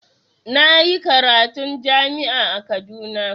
Na yi karatun jami'a a Kaduna.